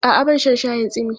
A'a, ba na shan shayin tsimi.